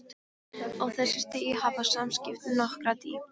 Á þessu stigi hafa samskiptin nokkra dýpt.